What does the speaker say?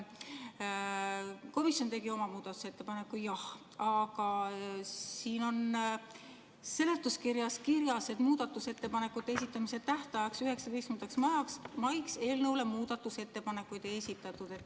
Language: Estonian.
Komisjon tegi oma muudatusettepaneku, jah, aga siin seletuskirjas on kirjas, et muudatusettepanekute esitamise tähtajaks, 19. maiks eelnõu kohta muudatusettepanekuid ei esitatud.